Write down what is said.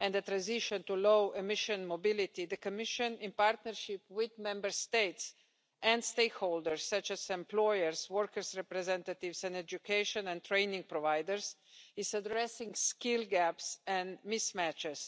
and the transition to low emission mobility, the Commission, in partnership with Member States and stakeholders such as employers, workers' representatives and education and training providers, is addressing skill gaps and mismatches.